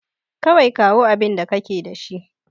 Kawai kawo abinda kake da shi.